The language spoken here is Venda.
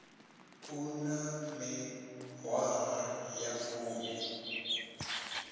a na miṅwaha ya fumi